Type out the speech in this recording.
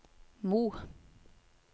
Mo